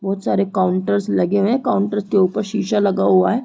बहुत सारे काउंटर्स लगे हुए है काउंटर्स के ऊपर शीशा लगा हुआ है।